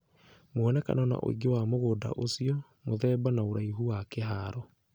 Muonekano na ũingĩ wa mũgũnda ũcio. Mũthemba na ũraihu wa kĩharo